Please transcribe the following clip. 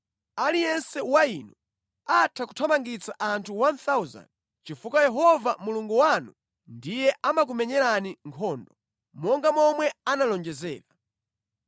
Aliyense wa inu atha kuthamangitsa anthu 1,000 chifukwa Yehova Mulungu wanu ndiye amakumenyerani nkhondo, monga momwe analonjezera.